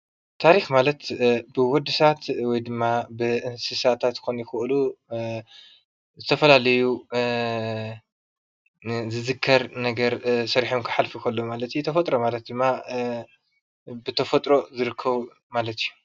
ታሪኽ ማለት ብወድሰቦት ወይ ድማ ብእንስሳት ንዝዝከር ነገር ሰሪሖም ኽሓልፉ ከለው ተፈጥሮ ማለት ድማ ብተፈጥሮ ዝርከብ እዪ።